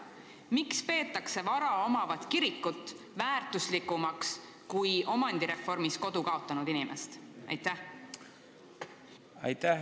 Miks peetakse vara omavat kirikut väärtuslikumaks kui omandireformi tõttu kodu kaotanud inimest?